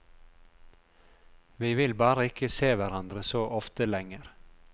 Vi vil bare ikke se hverandre så ofte lenger.